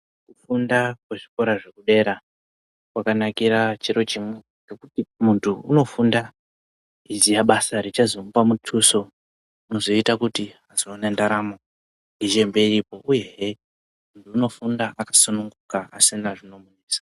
Kufunda kwezvikora zvedera kwakanakira chiro chimwe ngekuti muntu unofunda eiziye basa richazomupa mutuso rinozoita kuti azowane ndaramo iyendeke uyehe muntu unofunda akasununguka asina zvinomunesa.